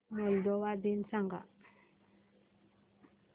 Moldova दिन सांगा